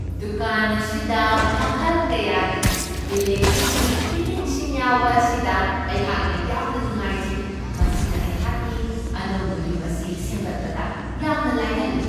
ꯗꯨꯀꯥꯟ ꯑꯁꯤꯗ ꯃꯈꯜ ꯀꯌꯥꯒꯤ ꯏꯂꯦꯛꯇ꯭ꯔꯤꯛꯀꯤ ꯐꯤꯇꯤꯡꯁꯤꯡ ꯌꯥꯎꯕ ꯑꯁꯤꯗ ꯑꯩꯍꯥꯛꯅ ꯌꯥꯝꯅ ꯅꯨꯡꯉꯥꯏꯖꯩ ꯫ ꯃꯁꯤꯅ ꯑꯩꯍꯥꯛꯀꯤ ꯑꯅꯧꯕ ꯌꯨꯝ ꯑꯁꯤ ꯁꯦꯝꯒꯠꯄꯗ ꯌꯥꯝꯅ ꯂꯥꯏꯍꯜꯂꯤ ꯫